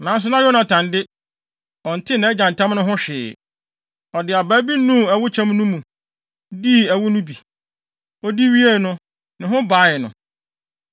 Nanso na Yonatan de, ɔntee nʼagya ntam no ho hwee. Ɔde abaa bi nuu ɛwo kyɛm no mu, dii ɛwo no bi. Odi wiee no, ne ho bae no.